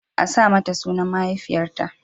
A sa mata sunan mahaifiyarta.